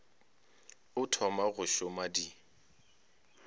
o thoma go šoma di